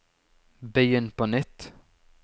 begynn på nytt